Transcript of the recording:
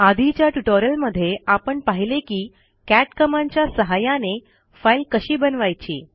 आधीच्या ट्युटोरियलमध्ये आपण पाहिले की कॅट कमांडच्या सहाय्याने फाईल कशी बनवायची